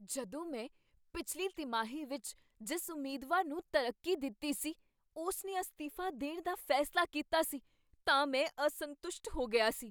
ਜਦੋਂ ਮੈਂ ਪਿਛਲੀ ਤਿਮਾਹੀ ਵਿੱਚ ਜਿਸ ਉਮੀਦਵਾਰ ਨੂੰ ਤਰੱਕੀ ਦਿੱਤੀ ਸੀ, ਉਸ ਨੇ ਅਸਤੀਫਾ ਦੇਣ ਦਾ ਫੈਸਲਾ ਕੀਤਾ ਸੀ ਤਾਂ ਮੈਂ ਅਸੰਤੁਸ਼ਟ ਹੋ ਗਿਆ ਸੀ।